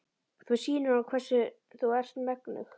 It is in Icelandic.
Þú sýnir honum hvers þú ert megnug.